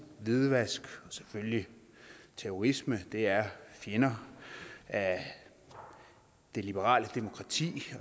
hvidvask og selvfølgelig terrorisme er fjender af det liberale demokrati